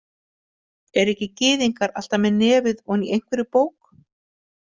Eru ekki gyðingar alltaf með nefið ofan í einhverri bók.